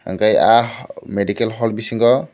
hingke ah medical hall bisingo.